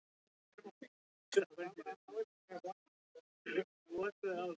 Þeir yrðu vitni að því: undirmaður minn og Valdimar.